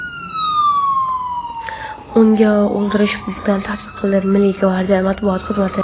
unga o‘ldirish bilan tahdid qildi – Milliy gvardiya Matbuot xizmati.